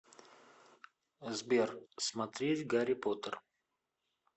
сбер смотреть гарри поттер